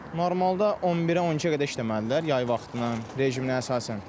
Normalda 11-ə, 12-yə qədər işləməlidirlər yay vaxtının rejiminə əsasən.